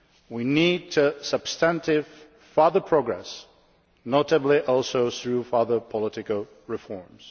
we need substantive further progress, notably also through further political reforms.